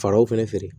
Falaw fɛnɛ feere